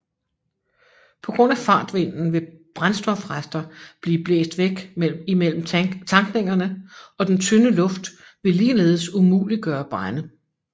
På grund af fartvinden vil brændstofrester blive blæst væk imellem tankningerne og den tynde luft vil ligeledes umuliggøre brande